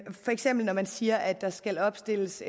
for eksempel når man siger at der skal opstilles